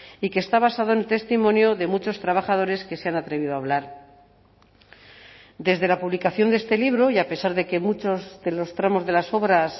y que está basado en el testimonio de muchos trabajadores que se han atrevido a hablar desde la publicación de este libro y a pesar de que muchos de los tramos de las obras